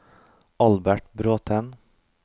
Albert Bråthen